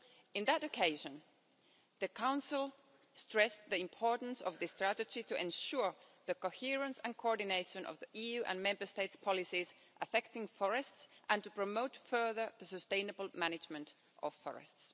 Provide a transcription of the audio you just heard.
On that occasion, the Council stressed the importance of the strategy to ensure the coherence and coordination of the EU and Member States' policies affecting forests and to promote further the sustainable management of forests.